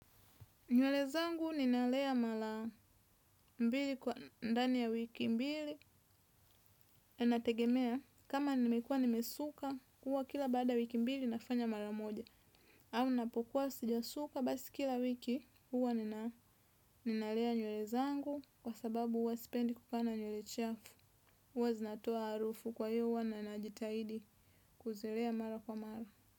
Nywele zangu ninalea mara mbili ndani ya wiki mbili inatengemea kama nimekuwa nimesuka huwa kila baada ya wiki mbili nafanya mara moja. Au napokuwasijasuka basi kila wiki huwa ninalea nywele zangu kwa sababu huwa sipendi kukaa na nywele chafu huwa zinatoa harufu kwa hivyo huwanajitahidi kuzilea mara kwa mara.